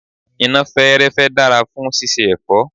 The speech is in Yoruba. iná fẹ́ẹ́rẹ́fẹ́ dára fún síse èfọ́.